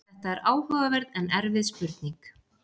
þetta er áhugaverð en erfið spurning